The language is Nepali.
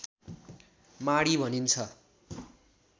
माडी भनिन्छ